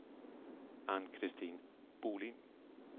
Ann-Christin Bohlin